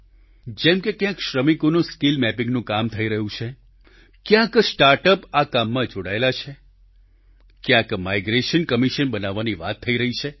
જેમકે ક્યાંક શ્રમિકોનું સ્કિલ મેપિંગ નું કામ થઈ રહ્યું છે ક્યાંક સ્ટાર્ટઅપ આ કામમાં જોડાયેલા છે ક્યાંક માઈગ્રેશન કમિશન બનાવવાની વાત થઈ રહી છે